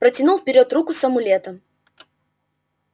протянул вперёд руку с амулетом